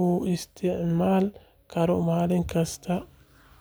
uu isticmaali karo maalin kasta.